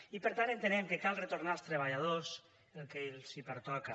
i per tant entenem que cal retornar als treballadors el que els pertoca